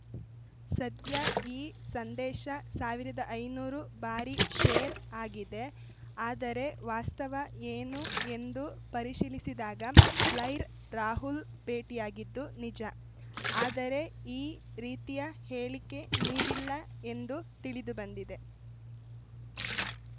ಸದ್ಯ ಈ ಸಂದೇಶ ಸಾವಿರದ ಐನೂರು ಬಾರಿ ಶೇರ್‌ ಆಗಿದೆ ಆದರೆ ವಾಸ್ತವ ಏನು ಎಂದು ಪರಿಶೀಲಿಸಿದಾಗ ಬ್ಲೈರ್‌ ರಾಹುಲ್‌ ಭೇಟಿಯಾಗಿದ್ದು ನಿಜ ಆದರೆ ಈ ರೀತಿಯ ಹೇಳಿಕೆ ನೀಡಿಲ್ಲ ಎಂದು ತಿಳಿದುಬಂದಿದೆ